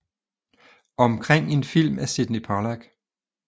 Omkring en film af Sydney Pollack